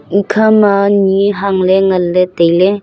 ekhama nyi hangley nganley tailey.